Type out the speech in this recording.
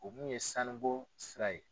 O mun ye sanu bɔ sira ye.